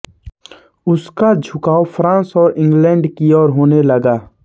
उसका झुकाव फ्रांस और इंग्लैंड की ओर होने लगा